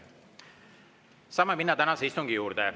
Saame minna tänase istungi juurde.